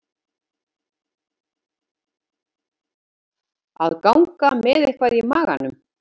Að ganga með eitthvað í maganum